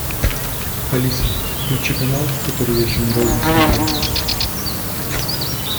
алиса включи канал который я еще ни разу не смотрел